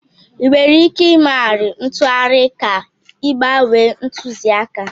Ị nwere ike ịmegharị ntụgharị ka ị gbanwee ntụzịaka?